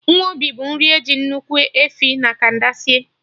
Nkwobi bụ nri eji Ụkwụ efi na canda esi